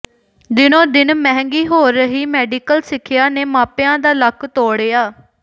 ਦਿਨੋ ਦਿਨ ਮਹਿੰਗੀ ਹੋ ਰਹੀ ਮੈਡੀਕਲ ਸਿਖਿਆ ਨੇ ਮਾਪਿਆਂ ਦਾ ਲੱਕ ਤੋੜਿਆ